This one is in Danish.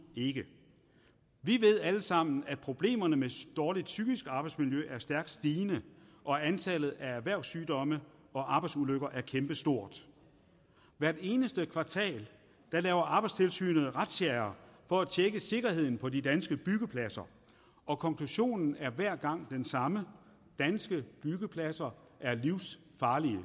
ikke vi ved alle sammen at problemerne med dårligt psykisk arbejdsmiljø er stærkt stigende og antallet af erhvervssygdomme og arbejdsulykker er kæmpestort hvert eneste kvartal laver arbejdstilsynet razziaer for at tjekke sikkerheden på de danske byggepladser og konklusionen er hver gang den samme danske byggepladser